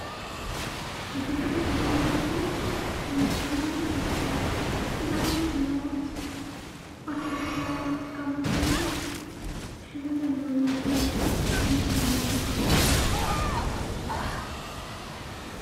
እዚ ንሪኦ ዘለና ምስሊ ዓይነት ሃይማኖት እዩ፡፡ እዚ ዓይነት ሃይማኖት ኦርቶዶክሳውያነ ዝጥቀመሉ ኮይኑ ሕዚ ዘለውዎ ግን እንታይ ይበሃል?